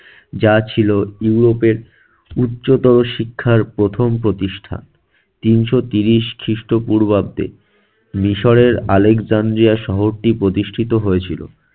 যা ছিল ইউরোপের উচ্চতর শিক্ষার প্রথম প্রতিষ্ঠা। তিনশো ত্রিশ খ্রিস্টপূর্বাব্দে মিশরের আলেকজান্দ্রিয়া শহরটি প্রতিষ্ঠিত হয়েছিল।